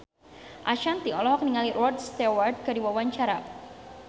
Ashanti olohok ningali Rod Stewart keur diwawancara